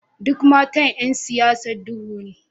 Duk matan ’yan siyasa duhu ne